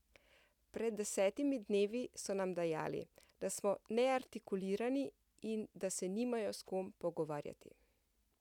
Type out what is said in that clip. Pred desetimi dnevi so nam dejali, da smo neartikulirani in da se nimajo s kom pogovarjati ...